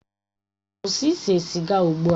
Kwụsị ise siga ugbu a!